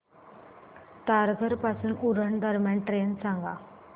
तारघर पासून उरण दरम्यान ट्रेन सांगा